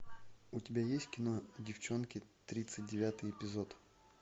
у тебя есть кино девчонки тридцать девятый эпизод